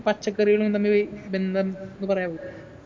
പച്ചക്കറികളും തമ്മില് ബന്ധം എന്ന് പറയാവൊ